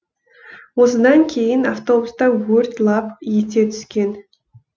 осыдан кейін автобуста өрт лап ете түскен